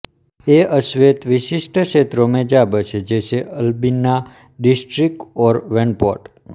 ये अश्वेत विशिष्ट क्षेत्रों में जा बसे जैसे अल्बिना डिस्ट्रिक्ट और वैनपोर्ट